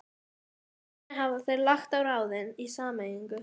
Þannig hafa þeir lagt á ráðin í sameiningu